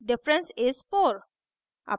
difference is 4